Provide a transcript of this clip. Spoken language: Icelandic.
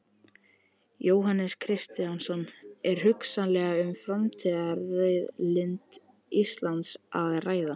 Jóhannes Kristjánsson: Er hugsanlega um framtíðarauðlind Íslands að ræða?